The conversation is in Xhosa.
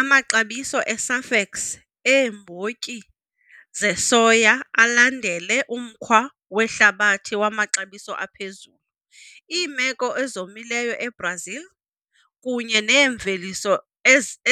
Amaxabiso e-SAFEX eembotyi zesoya alandele umkhwa wehlabathi wamaxabiso aphezulu. Iimeko ezomileyo eBrazil, kunye neemveliso